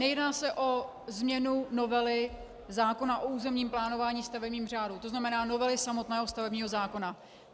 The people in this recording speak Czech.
Nejedná se o změnu novely zákona o územním plánování, stavebním řádu, to znamená novely samotného stavebního zákona.